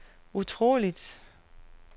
utroligt